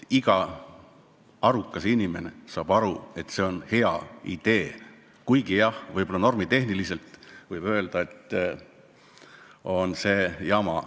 Iga arukas inimene saab aru, et see on hea idee, kuigi jah, võib-olla normitehniliselt lähenedes võib öelda, et see on jama.